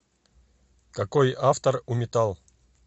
какой автор у метал